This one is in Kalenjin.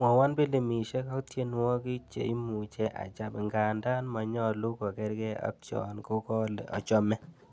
Mwoiwon pilimisiek ak tienwogik che imuche acham ngandan manyalu kokerge ak chon kogolee achomee